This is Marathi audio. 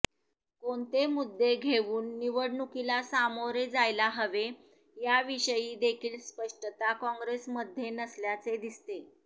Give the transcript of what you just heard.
कोणते मुद्दे घेऊन निवडणुकीला सामोरे जायला हवे याविषयी देखील स्पष्टता काँग्रेसमध्ये नसल्याचे दिसते